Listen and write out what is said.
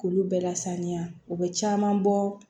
K'olu bɛɛ lasaniya u bɛ caman bɔ